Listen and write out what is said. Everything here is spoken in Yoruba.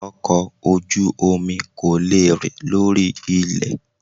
Ọkọ̀ ojú omi kò lè rìn lórí ilẹ̀